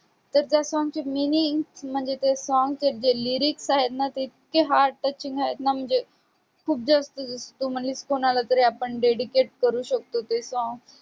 तर त्या song चे meaning म्हणजे ते song चे जे lyrics आहेत ना ते इतके heart touching आहेत ना म्हणजे खूप जास्त जसं तू म्हंटलीस कुणालातरी आपण dedicate करू शकतो ते song